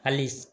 Hali